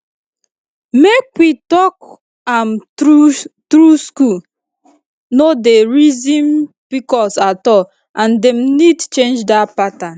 make we talk am true school no dey reason pcos at all and dem need change that pattern